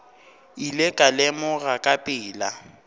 ile ka lemoga ka pela